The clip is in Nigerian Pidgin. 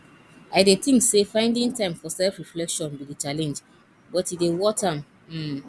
i dey think say finding time for selfreflection be di challenge but e dey worth am um